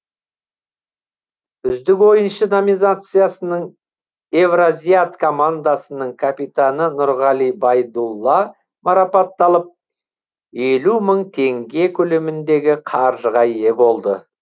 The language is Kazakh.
үздік ойыншы номинациясының евразиат командасының капитаны нұрғали байдулла марапатталып елу мың теңге көлеміндегі қаржығы ие болды